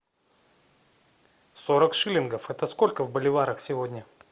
сорок шиллингов это сколько в боливарах сегодня